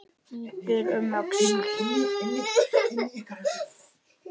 Lítur um öxl.